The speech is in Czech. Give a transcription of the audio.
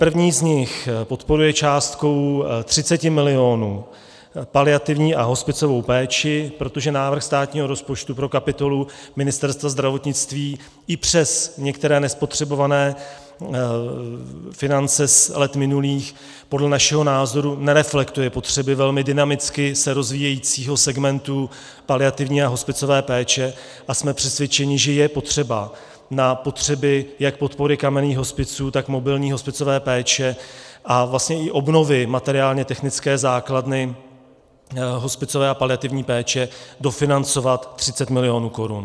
První z nich podporuje částkou 30 milionů paliativní a hospicovou péči, protože návrh státního rozpočtu pro kapitolu Ministerstva zdravotnictví i přes některé nespotřebované finance z let minulých podle našeho názoru nereflektuje potřeby velmi dynamicky se rozvíjejícího segmentu paliativní a hospicové péče, a jsme přesvědčeni, že je potřeba na potřeby jak podpory kamenných hospiců, tak mobilní hospicové péče a vlastně i obnovy materiálně technické základy hospicové a paliativní péče dofinancovat 30 milionů korun.